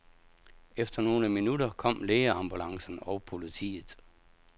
Efter nogle minutter kom lægeambulancen og politiet.